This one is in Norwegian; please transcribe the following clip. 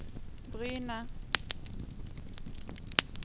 Bryne